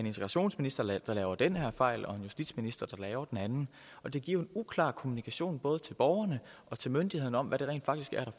integrationsminister der laver den her fejl og en justitsminister der laver den anden det giver en uklar kommunikation både til borgerne og til myndighederne om hvad det rent faktisk er